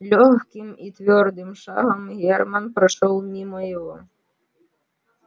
лёгким и твёрдым шагом герман прошёл мимо его